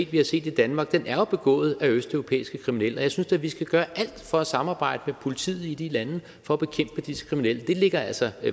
vi har set i danmark er jo begået af østeuropæiske kriminelle og jeg synes da vi skal gøre alt for at samarbejde med politiet i de lande for at bekæmpe disse kriminelle det ligger altså